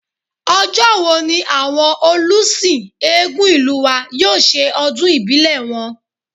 Ọjọ́ wo ní àwọn olùsìn Eégún ìlú wa yóò ṣe ọdún ìbílẹ̀ wọn?